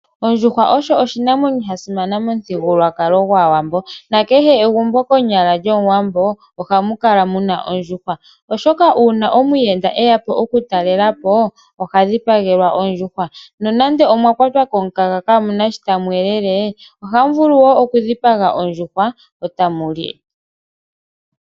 Ondjuhwa osho oshinamwenyo shasimana momuthigululwakalo gwAawambo nakehe egumbo konyala lyomuwambo ohamu kala muna ondjuhwa oshoka uuna omuyenda eya okutalelwa po oha dhipagelwa ondjuhwa nonando omwakwatwa komukaga ohamu vulu okudhipaga ondjuhwa eta mu li.